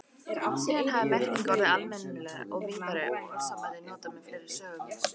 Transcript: Síðan hafi merkingin orðið almennari og víðari og orðasambandið notað með fleiri sögnum.